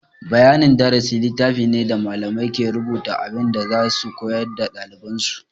Bayanin darasi littafi ne da malamai ke rubuta abin da za su koya wa ɗaliban su.